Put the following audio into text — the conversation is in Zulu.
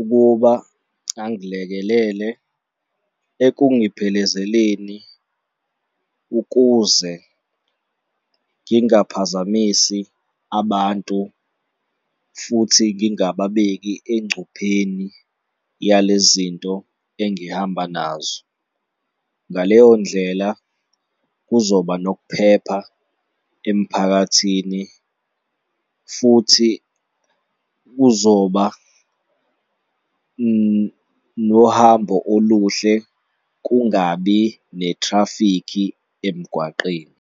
ukuba angilekelele ekungiphelezeleni ukuze ngingaphazamisi abantu futhi ngingababeki engcupheni yale zinto engihamba nazo. Ngaleyo ndlela kuzoba nokuphepha emphakathini futhi kuzoba nohambo oluhle kungabi netrafikhi emgwaqeni.